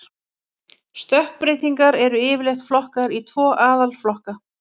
Stökkbreytingar eru yfirleitt flokkaðar í tvo aðalflokka.